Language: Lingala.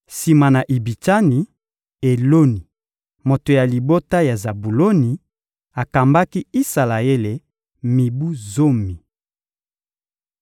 Sima na Ibitsani, Eloni, moto ya libota ya Zabuloni, akambaki Isalaele mibu zomi.